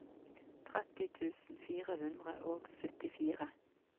tretti tusen fire hundre og syttifire